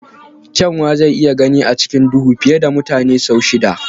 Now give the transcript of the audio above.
Kyanwa zai iya gani a cikin duhu fiye da mutane sau shida.